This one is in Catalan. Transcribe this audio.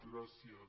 gràcies